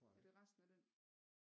Er det resten af den?